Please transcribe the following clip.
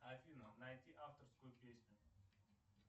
афина найти авторскую песню